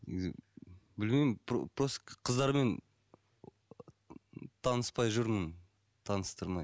негізі білмеймін просто просто қыздармен ыыы таныспай жүрмін таныстырмай